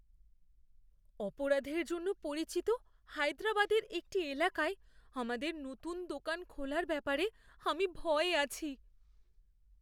অপরাধের জন্য পরিচিত হায়দ্রাবাদের একটি এলাকায় আমাদের নতুন দোকান খোলার ব্যাপারে আমি ভয়ে আছি।